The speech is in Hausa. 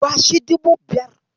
Bashi dubu biyar.